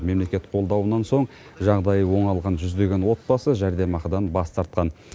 мемлекет қолдауынан соң жағдайы оңалған жүздеген отбасы жәрдемақыдан бас тартқан